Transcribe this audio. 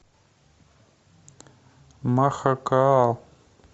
махакаал